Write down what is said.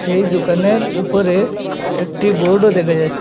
এই দোকানের উপরে একটি বোর্ড ও দেখা যা --